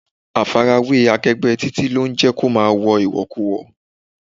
Àfarawé akegbe Títí lo ń jẹ́ kó máa wo iwokiwo